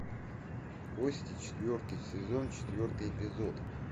кости четвертый сезон четвертый эпизод